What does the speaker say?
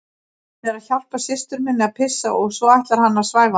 Hann er að hjálpa systur minni að pissa og svo ætlar hann að svæfa hana